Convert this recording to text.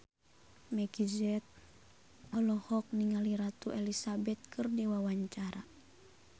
Meggie Z olohok ningali Ratu Elizabeth keur diwawancara